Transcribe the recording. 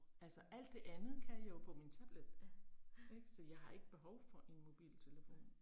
Altså alt det andet kan jeg jo på min tablet. Ik, så jeg har ikke behov for en mobiltelefon